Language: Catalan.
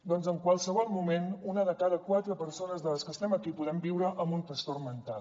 doncs en qualsevol moment una de cada quatre persones de les que estem aquí podem viure amb un trastorn mental